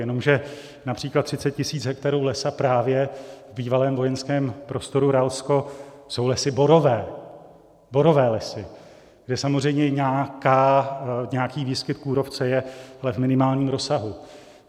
Jenomže například 30 000 hektarů lesa právě v bývalém vojenském prostoru Ralsko jsou lesy borové, borové lesy, kde samozřejmě nějaký výskyt kůrovce je, ale v minimálním rozsahu.